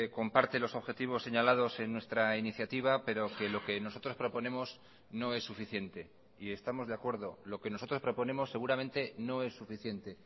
comparte los objetivos señalados en nuestra iniciativa pero que lo que nosotros proponemos no es suficiente y estamos de acuerdo lo que nosotros proponemos seguramente no es suficiente